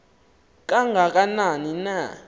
kanga kanani na